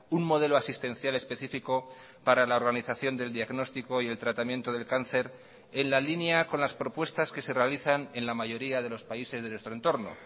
un modelo asistencial específico para la organización del diagnóstico y el tratamiento del cáncer en la línea con las propuestas que se realizan en la mayoría de los países de nuestro entorno